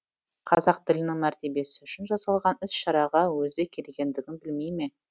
қазақ тілінің мәртебесі үшін жасалған іс шараға өзі келгендігін білмей ме